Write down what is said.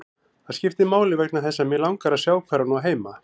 Það skiptir máli vegna þess að mig langar að sjá hvar hún á heima.